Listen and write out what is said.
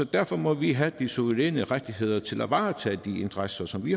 derfor må vi have de suveræne rettigheder til at varetage de interesser som vi